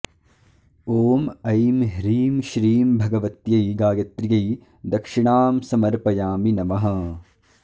ॐ ऐं ह्रीं श्रीं भगवत्यै गायत्र्यै दक्षिणां समर्पयामि नमः